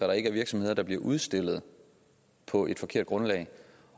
der ikke er virksomheder der bliver udstillet på et forkert grundlag